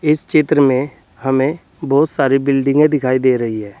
इस चित्र में हमें बहुत सारी बिल्डिंगे दिखाई दे रही है।